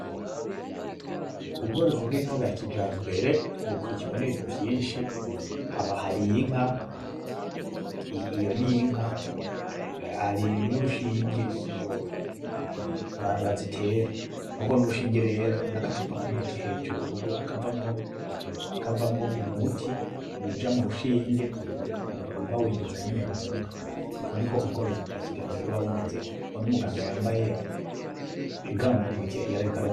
Ubworozi bw'inka bwa kijambere bukurikirwa n'ibintu vyinshi haba hari inka, iyo n'inka hari n'urushinge bazitera n'urwo n'urushinge rero n'agacupa k'umuti hejuru, kavamwo umuti uja mu rushinge uba winjiza nyene mu nka, uko niko ubworozi bwa kijambere buba bumeze, uwo n'umuganga yambaye igants muntoke yarariko